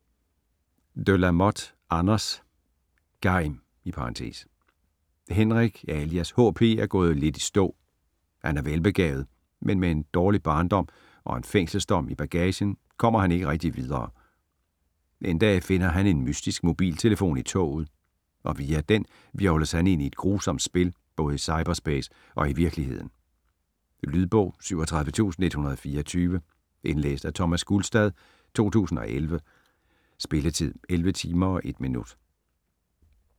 De la Motte, Anders: (Geim) Henrik alias HP er gået lidt i stå. Han er velbegavet, men med en dårlig barndom og en fængselsdom i bagagen kommer han ikke rigtig videre. En dag finder han en mystisk mobiltelefon i toget, og via den hvirvles han ind i et grusomt spil både i cyberspace og i virkeligheden. Lydbog 37124 Indlæst af Thomas Gulstad, 2011. Spilletid: 11 timer, 1 minutter.